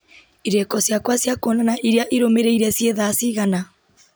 irĩko ciakwa cia kwonana iria irũmĩrĩire ciĩ thaa cigana